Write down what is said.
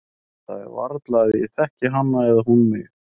En það er varla að ég þekki hana eða hún mig.